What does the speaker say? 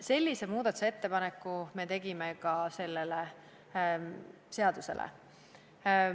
Sellise muudatusettepaneku me tegime ka selle seaduse kohta.